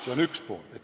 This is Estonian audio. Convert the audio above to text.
Seda esiteks.